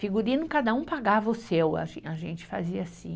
Figurino, cada um pagava o seu, a, a gente fazia assim.